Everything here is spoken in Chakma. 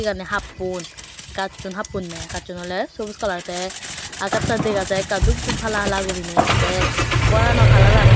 eyani happon gacchun happonney gacchun oley sobuj kalar tey agaj dega jai ekka dup dup hala hala gurinei tey goranaw kalaran oley.